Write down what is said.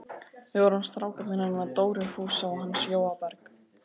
Við vorum strákarnir hennar Dóru Fúsa og hans Jóa Berg.